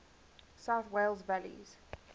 south wales valleys